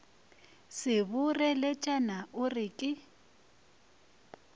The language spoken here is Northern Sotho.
se boreletšana o re ke